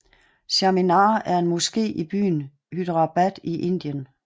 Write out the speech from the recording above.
Charminar er en moské i byen Hyderabad i Indien